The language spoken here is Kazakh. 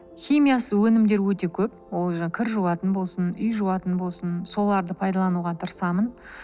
химиясыз өнімдер өте көп ол жаңағы кір жуатын болсын үй жуатын болсын соларды пайдалануға тырысамын